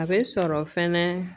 A bɛ sɔrɔ fɛnɛ